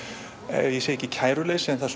ég segi ekki kæruleysi en það